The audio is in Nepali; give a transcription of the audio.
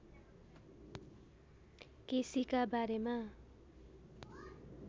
केसीका बारेमा